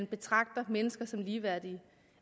betragter mennesker som ligeværdige